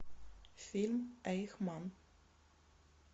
фильм эйхман